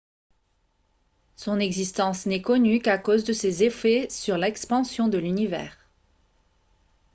son existence n'est connue qu'à cause de ses effets sur l'expansion de l'univers